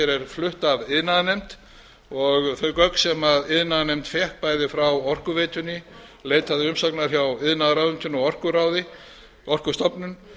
flutt af iðnaðarnefnd þau gögn sem iðnaðarnefnd fékk bæði frá orkuveitunni leitaði umsagnar hjá iðnaðarráðuneytinu og orkuráði orkustofnun